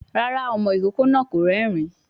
Rárá, ọmọ ìkókó náà kò rérìn-ín